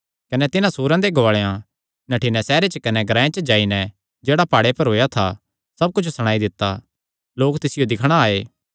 कने तिन्हां सूअरां दे गुआलेयां नठ्ठी नैं सैहरे च कने ग्रांऐ च जाई नैं जेह्ड़ा प्हाड़े पर होएया था सब कुच्छ सणाई दित्ता लोक तिसियो दिक्खणा आये